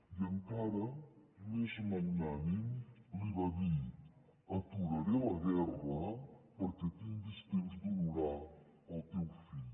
i encara més magnànim li va dir aturaré la guerra perquè tinguis temps d’honorar el teu fill